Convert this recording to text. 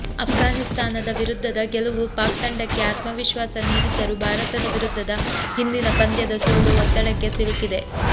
ಅಫ್ಘಾನಿಸ್ತಾನದ ವಿರುದ್ಧದ ಗೆಲುವು ಪಾಕ್ ತಂಡಕ್ಕೆ ಆತ್ಮವಿಶ್ವಾಸ ನೀಡಿದ್ದರೂ ಭಾರತದ ವಿರುದ್ಧದ ಹಿಂದಿನ ಪಂದ್ಯದ ಸೋಲು ಒತ್ತಡಕ್ಕೆ ಸಿಲುಕಿಸಿದೆ